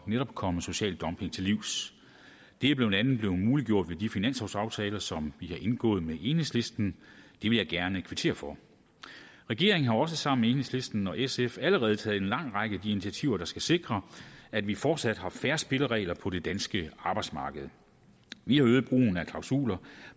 netop at komme social dumping til livs det er blandt andet blevet muliggjort ved de finanslovsaftaler som vi har indgået med enhedslisten det vil jeg gerne kvittere for regeringen har også sammen med enhedslisten og sf allerede taget en lang række af de initiativer der skal sikre at vi fortsat har fair spilleregler på det danske arbejdsmarked vi har øget brugen af klausuler